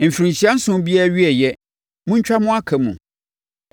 Mfirinhyia nson biara awieeɛ, montwa mo aka mu.